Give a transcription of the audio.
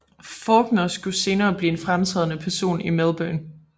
Fawkner skulle senere blive en fremtrædende person i Melbourne